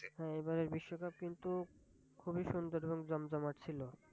হ্যাঁ এবারের বিশ্ব কাপ কিন্তু খুবিই সুন্দর এবং জমজমাট ছিল।